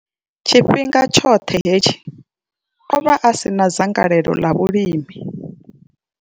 Tshifhinga tshoṱhe hetshi, o vha a si na dzangalelo ḽa vhulimi.